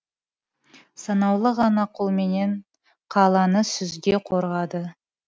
санаулы ғана қолменен қаланы сүзге қорғады